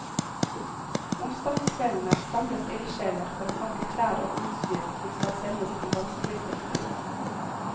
Onsdagskveldene samles ildsjeler for å pakke klær og utstyr som skal sendes til vanskeligstilte.